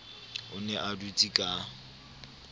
o ne a dutse ka